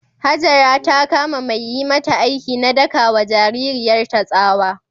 Hajara ta kama mai yi mata aiki na daka wa jaririyarta tsawa.